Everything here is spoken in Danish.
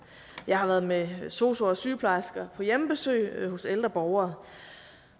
jeg har været med sosuer og sygeplejersker på hjemmebesøg hos ældre borgere